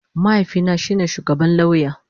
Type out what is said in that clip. Mahaifina shi ne shugaban lauya